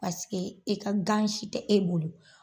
i ka gan si tɛ e bolo.